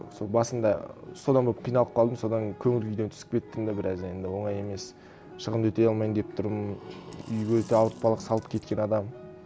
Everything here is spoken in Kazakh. сол басында содан көп қиналып қалдым содан көңіл күйден түсіп кеттім де біраз енді оңай емес шығынды өтей алмайын деп тұрмын үйге де ауыртпалық салып кеткен адам